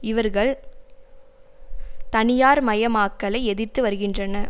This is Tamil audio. இவர்கள் தனியார் மயமாக்கலை எதிர்த்து வருகின்றன